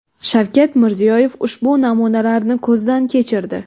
Shavkat Mirziyoyev ushbu namunalarni ko‘zdan kechirdi.